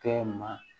Kɛ ma